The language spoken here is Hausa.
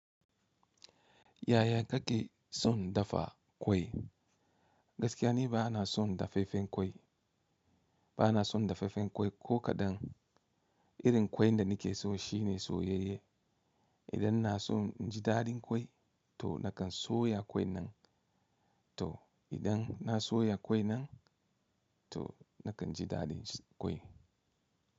Yaya kake son dafa kwai? Gaskiya ne ba na son dafaffen kwai, ba na son dafaffen kwai ko kaɗan. Irin ƙwai da nake so shi ne soyayye. Idan na so naji daɗin ƙwai to na kan soya ƙwai nan, to idan na soya ƙwai nan to na kan ji daɗin ƙwai.